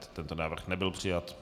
Tento návrh nebyl přijat.